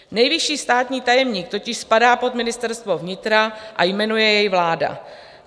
Nejvyšší státní tajemník totiž spadá pod ministerstvo vnitra a jmenuje jej vláda.